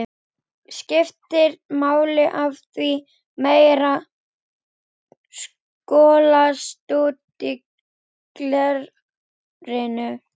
skiptir máli af því að meira skolast út úr glerinu.